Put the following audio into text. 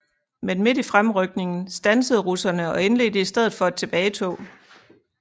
Men midt i fremrykningen standsede russerne og indledte i stedet for et tilbagetog